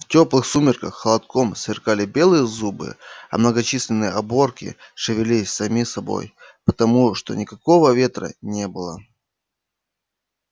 в тёплых сумерках холодком сверкали белые зубы а многочисленные оборки шевелились сами собой потому что никакого ветра не было